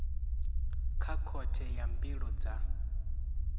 kha khothe ya mbilo dza